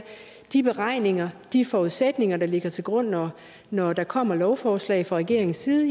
de beregninger og de forudsætninger der ligger til grund når når der kommer lovforslag fra regeringens side